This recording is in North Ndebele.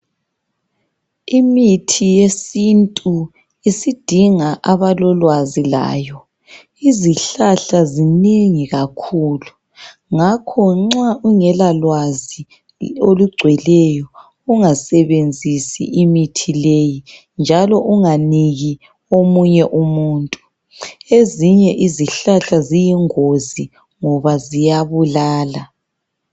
Imithi yesintu isidinga abalolwazi layo. Izihlahla zinengi kakhulu, ngakho nxa ungelalwazi olugcweleyo, ungasebenzisi imithi leyi njalo unganiki omunye umuntu. Ezinye izihlahla ziyingozi ngoba ziyabulala.